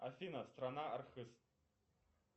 афина страна архыз